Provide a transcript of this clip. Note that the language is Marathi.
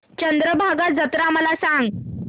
चंद्रभागा जत्रा मला सांग